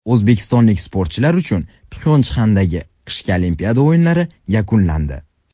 O‘zbekistonlik sportchilar uchun Pxyonchxandagi qishki Olimpiada o‘yinlari yakunlandi.